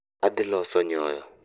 Adhi loso nyoyo